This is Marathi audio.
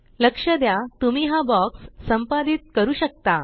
लक्ष द्या तुम्ही हा बॉक्स संपादित करू शकता